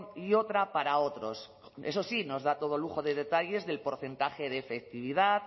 y otra para otros eso sí nos da todo lujo de detalles del porcentaje de efectividad